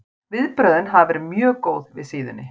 Viðbrögðin hafa verið mjög góð við síðunni.